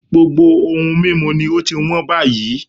Gbogbo ohun mímu ni ó ti hán báyìí